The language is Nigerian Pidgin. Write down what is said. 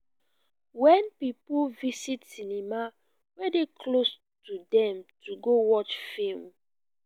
wen pipo visit cinema wey dey close to dem to go watch film.